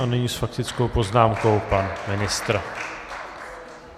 A nyní s faktickou poznámkou pan ministr.